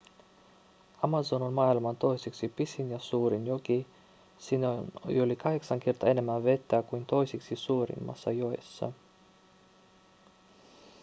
amazon on maailman toiseksi pisin ja suurin joki siinä on yli 8 kertaa enemmän vettä kuin toisiksi suurimmassa joessa